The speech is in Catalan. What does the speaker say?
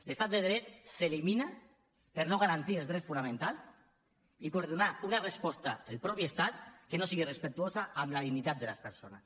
l’estat de dret s’elimina al no garantir els drets fonamentals i al donar una resposta el mateix estat que no sigui respectuosa amb la dignitat de les persones